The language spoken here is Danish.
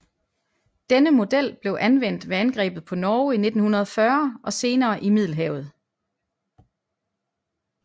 Denne model blev anvendt ved angrebet på Norge i 1940 og senere i Middelhavet